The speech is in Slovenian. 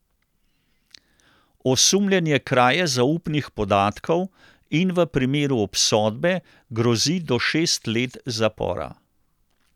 Osumljen je kraje zaupnih podatkov in v primeru obsodbe grozi do šest let zapora.